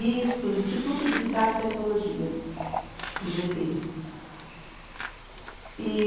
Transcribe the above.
Isso, Instituto de Guitarra e Tecnologia, I gê tê, E